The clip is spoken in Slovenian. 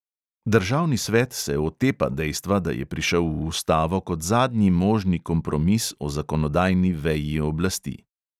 Državni svet se "otepa" dejstva, da je prišel v ustavo kot zadnji možni kompromis o zakonodajni veji oblasti.